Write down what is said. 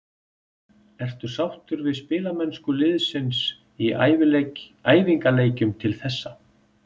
Ertu sáttur við spilamennsku liðsins í æfingaleikjum til þessa?